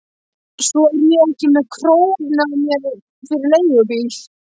Svo er ég ekki með krónu á mér fyrir leigubíl.